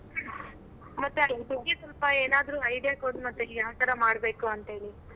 ಮತ್ತೆ ಅಲ್ interview ಗೆ ಸೊಲ್ಪ ಏನಾದ್ರು idea ಕೊಡ್ ಮತ್ತೆ ಅಲ್ ಯಾವ್ತರ ಮಾಡ್ಬೇಕು ಅಂತ್ ಹೇಳಿ.